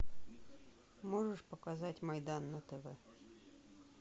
можешь показать майдан на тв